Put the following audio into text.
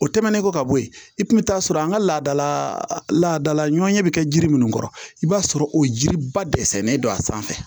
O tɛmɛnen kɔ ka bɔ yen i kun bɛ taa sɔrɔ an ka laadala ladalaɲɔgɔnya bɛ kɛ jiri minnu kɔrɔ i b'a sɔrɔ o jiriba dɛsɛlen don a sanfɛ